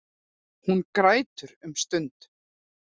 Hún grætur um stund.